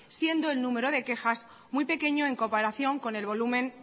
siendo el número de quejas muy pequeño en comparación con el volumen